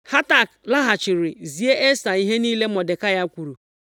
Hatak lọghachiri zie Esta ihe niile Mọdekai kwuru.